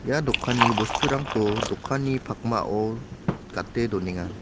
ia dokanni bosturangko dokanni pakmao gate donenga.